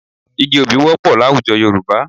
Igi obì wọ́pọ̀ láwùjọ Yorùbá